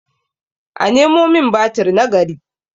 a Nemo min batir na gari!